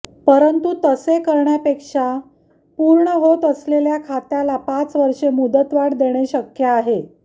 परंतु तसे करण्यापेक्षा पूर्ण होत असलेल्या खात्याला पाच वर्षे मुदतवाढ देणे शक्य आहे